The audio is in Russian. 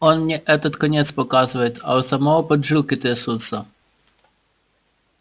он мне этот конец показывает а у самого поджилки трясутся